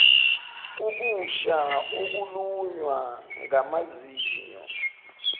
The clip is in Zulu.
ukusha ukulunywa ngamazinyo